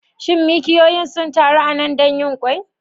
Shin mikiyoyin sun taru a nan don yin ƙwai?